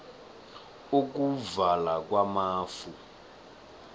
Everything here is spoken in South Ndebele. ukuvala kwamafu